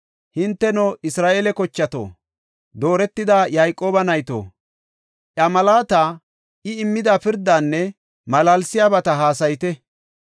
Hinteno, Isra7eele kochato, dooretida Yayqooba nayto, Iya malaata, I immida pirdaanne malaalsiyabata hassayite.